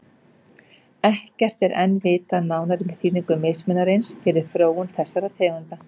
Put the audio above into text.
Ekkert er enn vitað nánar um þýðingu mismunarins fyrir þróun þessara tegunda.